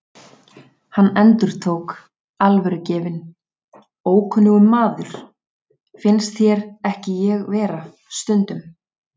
Hann endurtók, alvörugefinn: Ókunnugur maður, finnst þér ekki ég vera stundum?